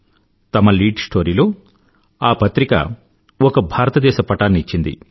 తమ లీడ్ స్టోరీలో ఆ పత్రిక ఒక భారతదేశ పటాన్ని ఇచ్చింది